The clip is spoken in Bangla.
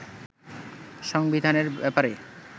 সংবিধানের ব্যাপারে